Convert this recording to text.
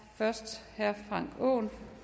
frank aaen